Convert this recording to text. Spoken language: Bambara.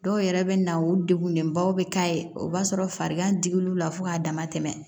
Dɔw yɛrɛ bɛ na o degunlenbaw bɛ k'a ye o b'a sɔrɔ farigan digillw la fo k'a dama tɛmɛ